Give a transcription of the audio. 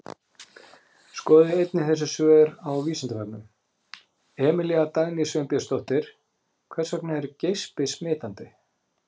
Skoðið einnig þessi svör á Vísindavefnum: Emilía Dagný Sveinbjörnsdóttir: Hvers vegna er geispi smitandi?